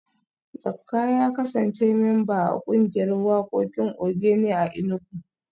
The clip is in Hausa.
Zakka ya kasance memba a kungiyar wakokin Ogene a Enugu